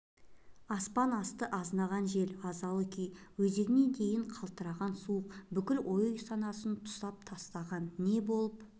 аспан асты азынаған жел азалы күй өзегіне дейін қалтыратқан суық бүкіл ой-санасын тұсап тастаған не болып